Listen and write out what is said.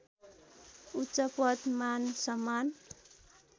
उच्चपद मानसम्मान